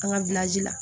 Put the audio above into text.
An ka la